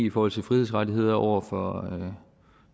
i forhold til frihedsrettigheder over for